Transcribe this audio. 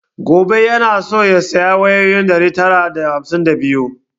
Gobe yana so ya saya wayoyi ɗari tara da hamsin da biyu